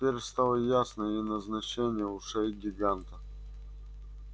теперь стало ясно и назначение ушей гиганта